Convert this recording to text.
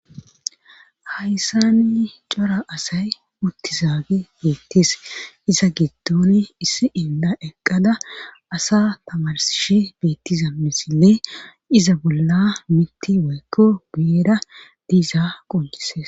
hayssani cora asay uttizaage beettis iza giddoni issi inda eqqada asa tamarsishi beettiza misille iza bolla mitti woykko guyera diiza qoncises